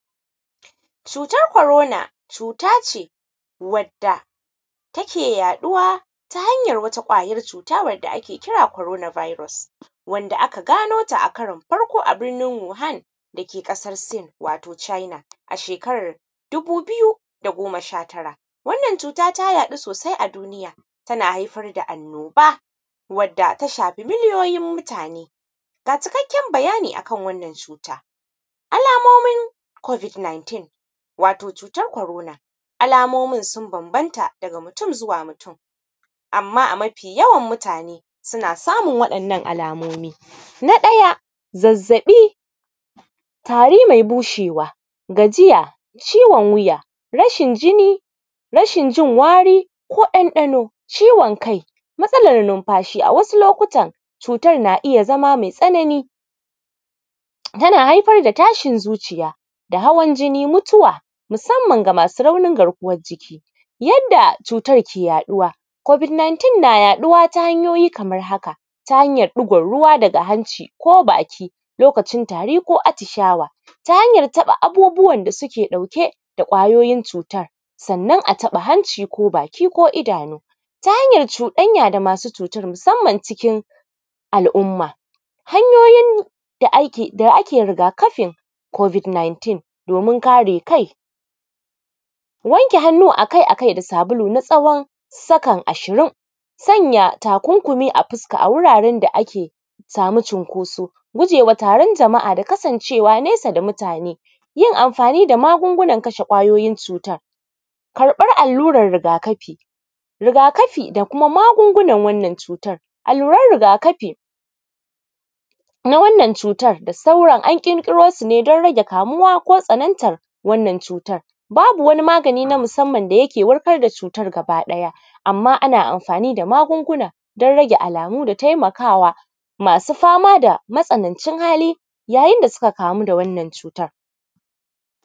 Cutar corona cuta ce wadda take yaɗuwa ta hanyar wata ƙwayar cuta wadda ake kira “corona virus” wanda aka gano ta a karin farko a birnin wuhan dake ƙasar sin wato china a shekar dubu biyu da goma sha tara, wannan cuta ta yaɗu sosai a duniya tana haifar da annoba wadda ta shafi miliyoyin mutane, ga cikakken bayani akan wannan cuta, alamomin “covid 19” wato cutar corona, alamomin sun bamabanta daga mutum zuwa mutum, amma a mafi yawan mutane suna samun waɗannan alamomi, na ɗaya zazzaɓi, tari mai bushewa, gajiya, ciwon wuya, rashin jinni, rashin jin wari ko ɗanɗano, ciwon kai, matsalan numfashi a wasu lokutan cutar na iya zama mai tsanani tana haifar da tashin zuciya da hawan jini, mutuwa musamman ga masu raunin garkuwan jiki, yadda cutar ke yaɗuwa covid 19 na yaɗuwa ta hanyoyi kamar haka, ta hanyar ɗigon ruwa daga hanci ko baki lokacin tari ko atishawa, ta hanyar taɓa abubuwan da suke ɗauke da ƙwayoyin cutan sannan a taɓa hanci ko baki ko idanu, ta hanyar cuɗanya da masu cutar musamman cikin al`umma, hanyoyin da ake riga kafin covid 19 domin kare kai, wanke hannu akai akai da sabulu na tsawon sakon ashirin, sanya takunkumi a fuska a wuraren da ake samu cinkoso, gujewa taron jama`a da kasancewa nesa da mutane, yin amfani da magungunan kashe ƙwayoyin cutan, karɓar alluran riga kafi, riga kafi da kuma magungunan wannan cutan, alluran riga kafi na wannan cutan da sauran an ƙirƙirosu ne da rage kamuwa ko tsanantar wannan cutar, babu wani magani na musamman da yake warkar da cutar gaba ɗaya amma ana amfani da magunguna rage alamu da taimakawa masu fama da matsanancin hali yayin da suka kamu da wannan cutan.